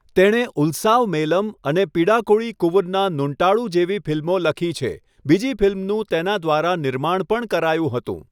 તેણે ઉલ્સાવમેલમ અને પિડાકોળી કુવુન્ના નૂટાન્ડુ જેવી ફિલ્મો લખી છે, બીજી ફિલ્મનું તેના દ્વારા નિર્માણ પણ કરાયું હતું.